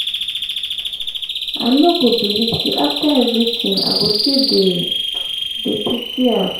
i no go believe say after everything i go still dey dey pity dem